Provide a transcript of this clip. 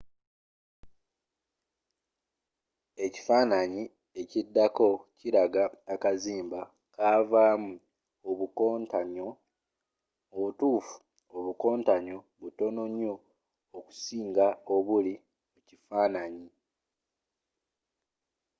ekifanaanyi ekiddako kilaga akaziba kavaamu obukontanyo mubutuufu obukontanyo butono nyo okusinga obuli mu kifanaanyi